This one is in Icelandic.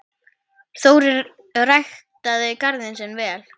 Þórir ræktaði garðinn sinn vel.